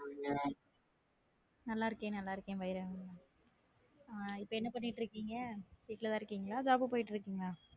நல்லா இருக்கேன் நல்லா இருக்கேன், பைரவன் ஹம் இப்ப என்ன பண்ணிட்டு இருக்கீங்க? வீட்டுலதான் இருக்கீங்களா? job போயிட்டு இருக்கீங்களா?